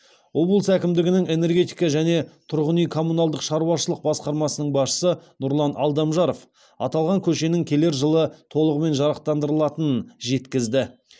облыс әкімдігінің энергетика және тұрғын үй коммуналдық шаруашылық басқармасының басшысы нұрлан алдамжаров аталған көшенің келер жылы толығымен жарықтандырылатынын жеткізді